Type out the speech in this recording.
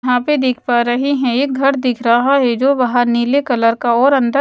यहां पर देख पा रहे हैं एक घर दिख रहा है जो बाहर नीले कलर का और अंदर--